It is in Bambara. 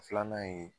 Filanan ye